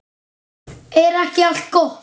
Er ekki allt gott?